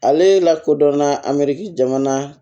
Ale lakodɔnna amiriki jamana